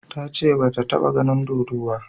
Ta ce ba ta ta ba ganin dodo ba